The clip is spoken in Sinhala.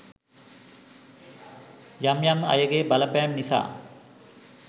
යම් යම් අයගේ බලපෑම් නිසා